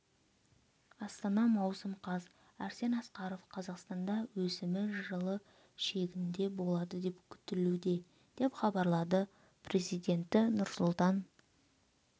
астана маусым қаз арсен асқаров қазақстанда өсімі жылы шегінде болады деп күтілуде деп хабарлады президенті нұрсұлтан